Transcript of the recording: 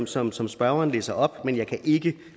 som som spørgeren læser op men jeg kan ikke